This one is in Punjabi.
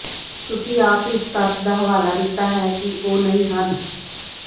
ਤੁਸੀਂ ਆਪ ਇਸ ਤੱਥ ਦਾ ਹਵਾਲਾ ਦਿੱਤਾ ਹੈ ਕਿ ਉਹ ਨਹੀਂ ਹਨ